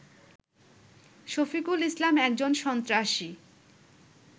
শফিকুল ইসলাম একজন সন্ত্রাসী